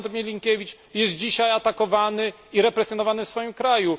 Aleksander Milinkiewicz jest dzisiaj atakowany i represjonowany w swoim kraju.